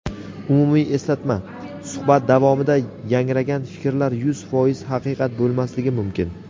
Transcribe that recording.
Umumiy eslatma: Suhbat davomida yangragan fikrlar yuz foiz haqiqat bo‘lmasligi mumkin.